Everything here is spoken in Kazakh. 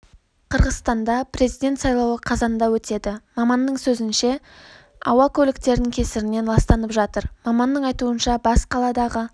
қырғызстанда президент сайлауы қазанда өтеді маманның сөзінше ауа көліктердің кесірінен ластанып жатыр маманның айтуынша бас қаладағы